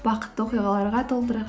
бақытты оқиғаларға толтырайық